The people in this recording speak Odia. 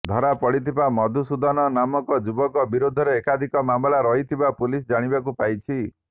ଧରାପଡ଼ିଥିବା ମଧୁସୂଦନ ନାମକ ଯୁବକ ବିରୋଧରେ ଏକାଧିକ ମାମଲା ରହିଥିବା ପୁଲିସ ଜାଣିବାକୁ ପାଇଛି